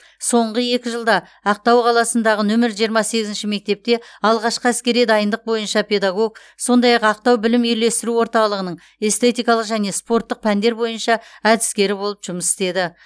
соңғы екі жылда ақтау қаласындағы нөмір жиырма сегізінші мектепте алғашқы әскери дайындық бойынша педагог сондай ақ ақтау білім үйлестіру орталығының эстетикалық және спорттық пәндер бойынша әдіскері болып жұмыс істеді